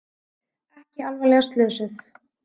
Ekki alvarlega slösuð